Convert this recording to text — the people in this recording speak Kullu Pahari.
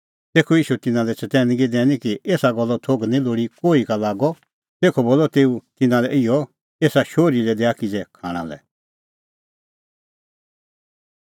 तेखअ ईशू तिन्नां लै चतैनगी दैनी कि एसा गल्लो थोघ निं लोल़ी कोही का लागअ तेखअ बोलअ तेऊ तिन्नां लै इहअ एसा शोहरी लै दैआ किज़ै खाणां लै